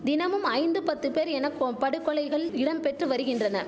தினமும் ஐந்து பத்து பேர் எனக்கோம் படுகொலைகள் இடம்பெற்று வரிகின்றன